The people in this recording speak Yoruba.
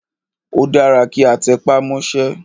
Ó dára kí a tẹpá mọ́sẹ́.